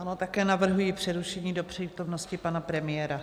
Ano, také navrhuji přerušení do přítomnosti pana premiéra.